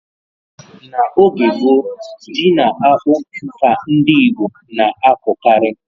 N'oge gboo, ji na akpụ ka ndị Igbo na-akọkarị.